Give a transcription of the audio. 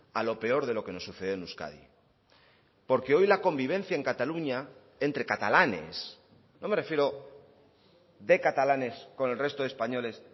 a lo peor de lo que nos sucede en euskadi porque hoy la convivencia en cataluña entre catalanes no me refiero de catalanes con el resto de españoles